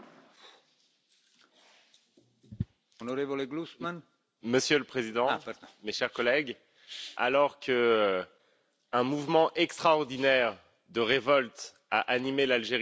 Monsieur le Président, mes chers collègues, alors qu'un mouvement extraordinaire de révolte anime l'Algérie depuis des mois, il est temps que nous exprimions notre soutien.